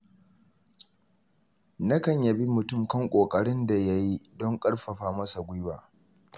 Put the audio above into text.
Nakan yabi mutum kan ƙoƙarin da yayi don ƙarfafa masa gwiwa.